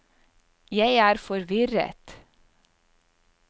jeg er forvirret